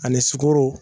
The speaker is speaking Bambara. Ani sukoro